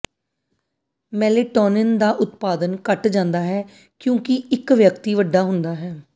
melatonin ਦਾ ਉਤਪਾਦਨ ਘੱਟ ਜਾਂਦਾ ਹੈ ਕਿਉਂਕਿ ਇੱਕ ਵਿਅਕਤੀ ਵੱਡਾ ਹੁੰਦਾ ਹੈ